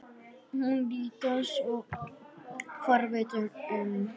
Hún litast forviða um.